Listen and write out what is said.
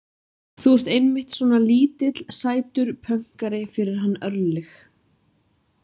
Þú ert einmitt svona lítill, sætur pönkari fyrir hann Örlyg.